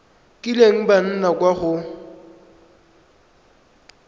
kileng ba nna kwa go